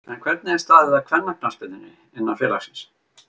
En Hvernig er staðið að kvennaknattspyrnunni innan félagsins?